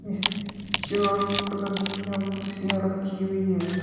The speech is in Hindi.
यह चार कलर कीया कुर्सियां रखी हुई हैं।